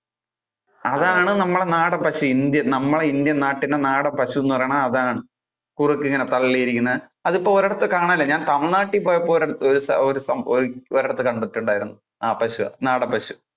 അതാണ് നമ്മുടെ നാടൻ പശു. നമ്മുടെ indian നാട്ടിലെ നാടൻ പശുന്നു പറയുന്നത് അതാണ്. ഇങ്ങനെ തള്ളി ഇരിക്കുന്ന, അത് ഇപ്പൊ ഒരിടത്തും കാണാൻ ഇല്ല ഞാൻ തമിഴ് നാട്ടിൽ പോയപ്പോൾ ഒ~ഒരിടത്തു ഒര്~ഒരൂസം~ഒരിടത്ത് കണ്ടിട്ടുണ്ടാർന്നു. ആ പശുവാ, നാടൻ പശു.